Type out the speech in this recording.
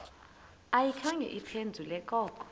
ayikhange iphendule koko